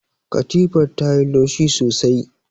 Katifar ta yi laushi sosai.